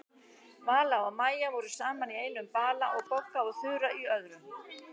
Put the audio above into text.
Vala og Maja voru saman í einum bala og Bogga og Þura í öðrum.